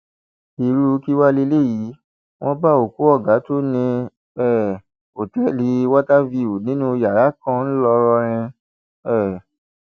irú kí wàá lélẹyìí wọn bá òkú ọgá tó ní um òtẹẹlì water view nínú yàrá kan ńlọrọrìn um